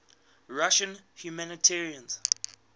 russian humanitarians